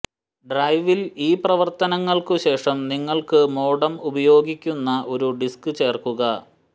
ഡ്രൈവിൽ ഈ പ്രവർത്തനങ്ങൾക്കു് ശേഷം നിങ്ങൾക്കു് മോഡം ഉപയോഗിയ്ക്കുന്ന ഒരു ഡിസ്ക് ചേർക്കുക